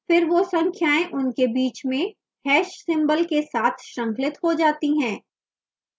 फिर वो संख्याएं उनके बीच में hash symbol # के साथ श्रृंखलित हो जाती है